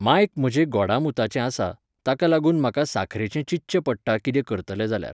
मांयक म्हजे गोडामुताचें आसा, ताका लागून म्हाका साखरेचें चिंतचे पडटा कितें करतलें जाल्यार